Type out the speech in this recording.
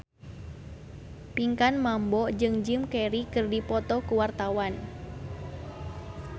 Pinkan Mambo jeung Jim Carey keur dipoto ku wartawan